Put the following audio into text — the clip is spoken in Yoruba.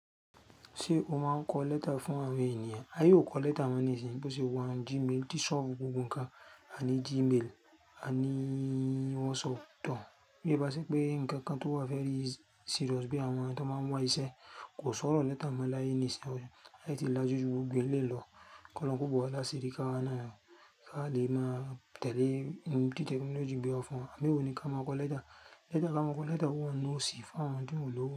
Ṣé o máa ń kọ lẹ́tà fún àwọn ènìyàn? Aye o kọ lẹ́tà mọ́ nísin bó ṣe wà ní Gmail. Tí ṣọ́ọ̀fù gbogbo nǹkan, a ní Gmail, a ní WhatsApp tàn. Bíi bá ṣe pé nǹkan kan tó wà very serious bí i àwọn tó máa ń wá iṣẹ́ kò sọ̀rọ̀ lẹ́tà mọ́ láyé nìsin. Aye tí lájú gbogbo eleyii lọ, kí Olorun kó bọ̀ wá lásìrí káwa na. Ká lè máa tẹ̀lé ohun tí tẹkinọ́lọ́ọ̀gì gbe wa fún wa. Àbí ewo ni ká máa kọ lẹ́tà? Lẹ́tà ká máa kọ lẹ́tà o wa n nu òsì fún àwọn tió lòwo.